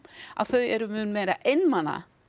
að þau eru mun meira einmana